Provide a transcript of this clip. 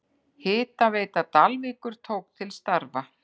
Hitaveita Dalvíkur tók til starfa.